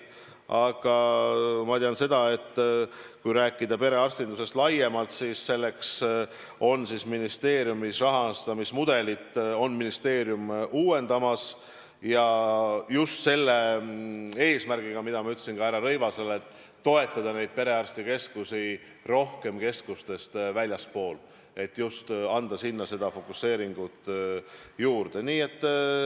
Aga ma tean seda, et kui rääkida perearstindusest laiemalt, siis ministeerium on rahastamismudelit uuendamas, ja just selle eesmärgiga, mida ma ütlesin ka härra Rõivasele, et toetada perearstikeskusi rohkem keskustest väljaspool, et anda sinna fokuseeringut juurde.